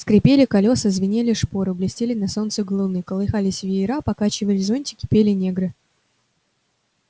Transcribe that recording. скрипели колеса звенели шпоры блестели на солнце галуны колыхались веера покачивались зонтики пели негры